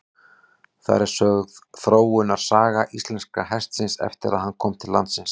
Þar er sögð þróunarsaga íslenska hestinum eftir að hann kom til landsins.